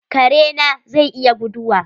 Kare na zai iya guduwa?